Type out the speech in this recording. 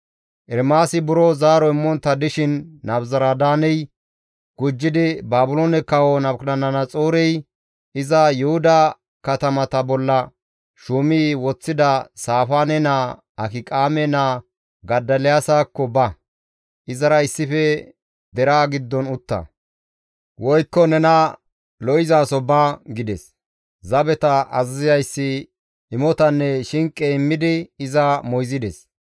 Ermaasi buro zaaro immontta dishin Nabuzaradaaney gujjidi, «Baabiloone Kawo Nabukadanaxoorey iza Yuhuda katamata bolla shuumi woththida Saafaane naa, Akiqaame naa Godoliyaasakko ba; izara issife deraa giddon utta; woykko nena lo7izaso ba» gides. Zabeta azazizayssi imotanne shinqe immidi iza moyzides.